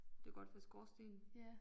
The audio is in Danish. Det kunne godt være skorstenen